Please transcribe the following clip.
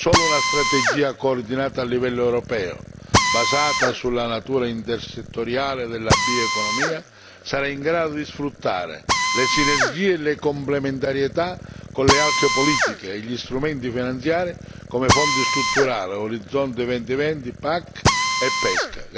Solo una strategia coordinata a livello europeo basata sulla natura intersettoriale della bioeconomia sarà in grado di sfruttare le sinergie e le complementarietà con le altre politiche e gli strumenti finanziari come i Fondi strutturali, Orizzonte 2020, PAC e PESC.